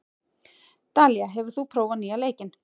Dalía, hefur þú prófað nýja leikinn?